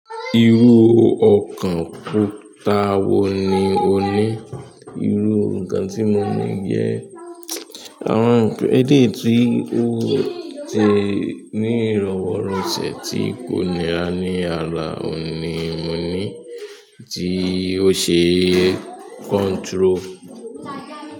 Irú ọkàn kùta wo ni o ní? Irú nǹkan tí mo ní jẹ́ àwọn nǹkan eleyi ti o ti ni irọwọrọsẹ tí kò nira ni ara òun ni moni ti o ṣe control.